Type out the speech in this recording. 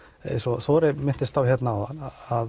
eins og Þórey minntist á hérna áðan